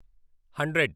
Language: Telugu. హండ్రెడ్